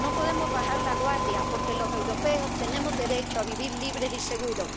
No podemos bajar la guardia porque los europeos tenemos derecho a vivir libres y seguros.